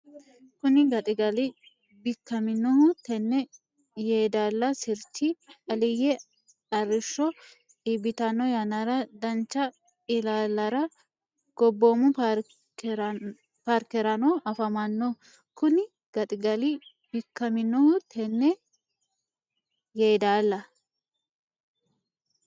Kuni gaxigali Bikkaminohu tenne Yeedaala sirchi Aliyye arrishsho iibbitanno yannara dancha Ilaallara Gobboomu Paarkerano afamanno Kuni gaxigali Bikkaminohu tenne Yeedaala.